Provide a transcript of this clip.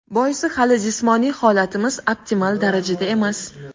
Boisi hali jismoniy holatimiz optimal darajada emas.